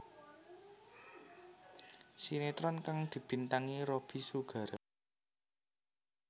Sinetron kang dibintangi Robby Sugara